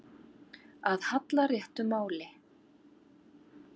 Að halla réttu máli